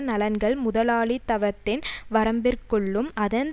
நலன்கள் முதலாளித்தவத்தின் வரம்பிற்குள்ளும் அதன்